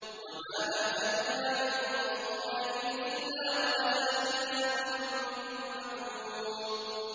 وَمَا أَهْلَكْنَا مِن قَرْيَةٍ إِلَّا وَلَهَا كِتَابٌ مَّعْلُومٌ